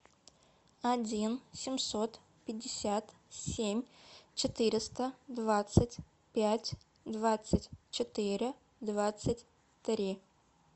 один семьсот пятьдесят семь четыреста двадцать пять двадцать четыре двадцать три